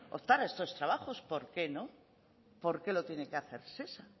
optar a estos trabajos por qué no por qué lo tiene que hacer shesa